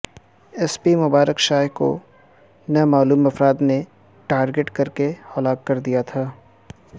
S P Mubarak Shah کو نامعلوم افراد نے ٹارگٹ کر کے ہلاک کر دیا تھا